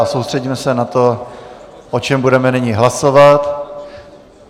A soustředíme se na to, o čem budeme nyní hlasovat.